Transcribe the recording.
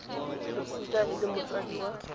losika e le motsadi wa